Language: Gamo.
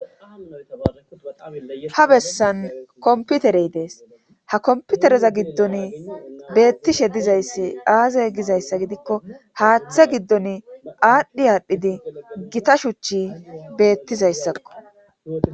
Ha bessan kompiterey Des ha kompiterezagiddoni beettishe dizayssi aaze gizayssa gidikko haathe giddoni aadhi aadhidi Gita shuchi beettizayssako